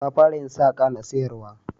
Ta fara yin saƙa na sayarwa